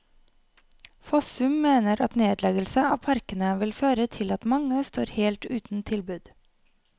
Fossum mener at nedleggelse av parkene vil føre til at mange står helt uten tilbud.